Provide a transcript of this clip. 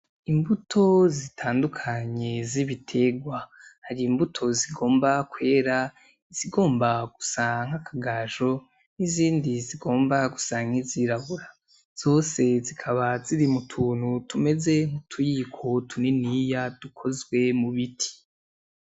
Imbuto zitandukanye z'ibitegwa. Hari imbuto zigomba kwera, izigomba gusa nk'akagajo n'izindi zigomba gusa nk'izirabura. Zose zikaba ziri mu tuntu tumeze nkutuyiko tuniniya dukozwe mu biti.